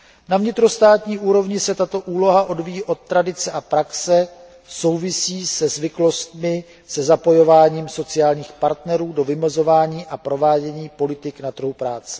Na vnitrostátní úrovni se tato úloha odvíjí od tradice a praxe související se zapojením sociálních partnerů do vymezování a provádění politik na trhu práce.